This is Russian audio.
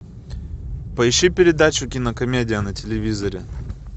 поищи передачу кинокомедия на телевизоре